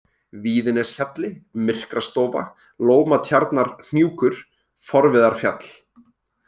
Víðineshjalli, Myrkrastofa, Lómatjarnarhnjúkur, Forviðarfjall